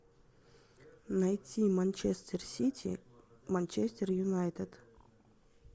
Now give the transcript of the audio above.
найти манчестер сити манчестер юнайтед